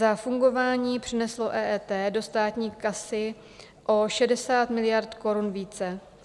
Za fungování přineslo EET do státní kasy o 60 miliard korun více.